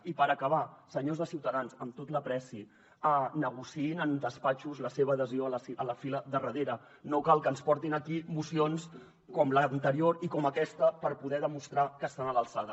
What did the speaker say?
i per acabar senyors de ciutadans amb tota l’estima negociïn en despatxos la seva adhesió a la fila del darrera no cal que ens portin aquí mocions com l’anterior i com aquesta per poder demostrar que estan a l’alçada